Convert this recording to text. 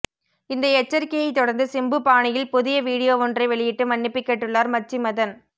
இந்த எச்சரிக்கையை தொடர்ந்து சிம்பு பாணியில் புதிய வீடியோ ஒன்றை வெளியிட்டு மன்னிப்பு கேட்டுள்ளார் மச்சி மதன்